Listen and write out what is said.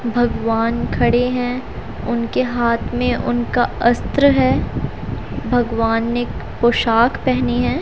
भगवान खड़े हैं उनके हाथ में उनका अस्त्र है भगवान ने एक पोशाक पहनी है।